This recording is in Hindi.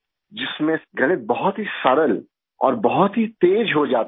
जिसमे गणित बहुत ही सरल और बहुत ही तेज हो जाता था